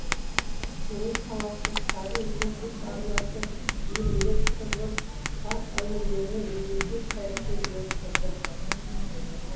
семей қаласы кәрі ертіс арнасының иірімдер сырлы саз әуендерімен үндесе тербеліп тұрды